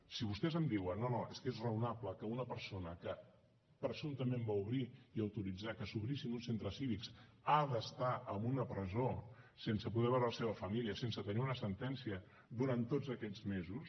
si vostès em diuen no no és que és raonable que una persona que presumptament va obrir i autoritzar que s’obrissin uns centres cívics ha d’estar en una presó sense poder veure la seva família sense tenir una sentència durant tots aquests mesos